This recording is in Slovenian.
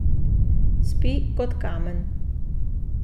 Spi kot kamen.